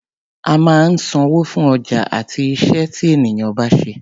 A máa ń sanwó fún ọjà àti iṣẹ́ tí ènìyàn bá ṣe.